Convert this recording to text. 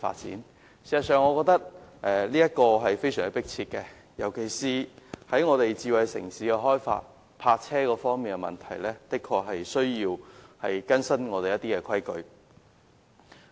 事實上，我認為這是非常迫切的，尤其是香港計劃發展智慧城市，在停泊車輛方面確實需要更新現行的規例。